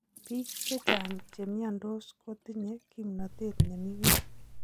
Biik chechang' chemiondos kotinye kimnatet nemii ng'weny